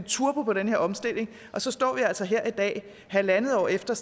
turbo på den her omstilling og så står vi altså her i dag halvandet år efter